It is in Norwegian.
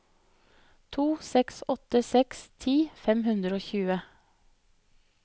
to seks åtte seks ti fem hundre og tjue